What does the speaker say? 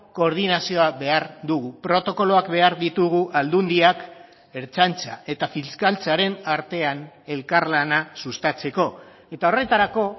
koordinazioa behar dugu protokoloak behar ditugu aldundiak ertzaintza eta fiskaltzaren artean elkarlana sustatzeko eta horretarako